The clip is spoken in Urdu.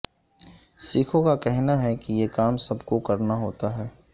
سکھوں کا کہنا ہے کہ یہ کام سب کو کرنا ہوتا ہے